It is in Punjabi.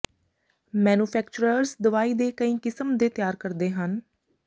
ਮੈਨੂਫੈਕਚਰਰਜ਼ ਦਵਾਈ ਦੇ ਕਈ ਕਿਸਮ ਦੇ ਤਿਆਰ ਕਰਦੇ ਹਨ